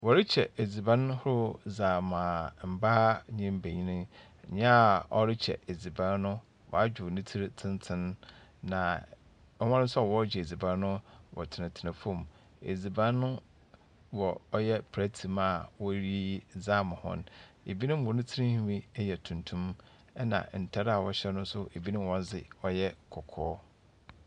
Wɔrekyɛ edziban ahorow dze ama mbaa ne mbenyin. Nea ɔrekyɛ edziban no, wadwow ne tsir tsentsen, na wɔn nsoa wɔrekyɛ edziban no, wɔtenatena fam edziban no wɔ ɔyɛ plɛɛte mu a wɔreyiyi dze ama hɔn. Ebinom hɔ tsirhwi yɛ tuntum, ɛnna ntar a wɔhyɛ no nso, ebinom nso wɔn dze ɔyɛ kɔkɔɔ.